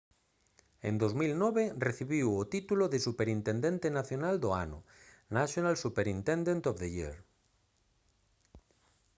en 2009 recibiu o título de superintendente nacional do ano national superintendent of the year